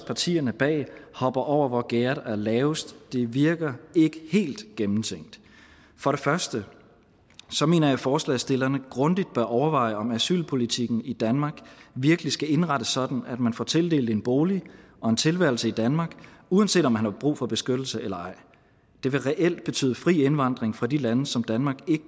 partierne bag hopper over hvor gærdet er lavest og det virker ikke helt gennemtænkt for det første mener jeg at forslagsstillerne grundigt bør overveje om asylpolitikken i danmark virkelig skal indrettes sådan at man får tildelt en bolig og en tilværelse i danmark uanset om man har brug for beskyttelse eller ej det vil reelt betyde fri indvandring fra de lande som danmark